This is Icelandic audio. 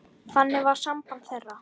Þannig var samband þeirra.